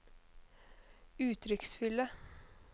uttrykksfulle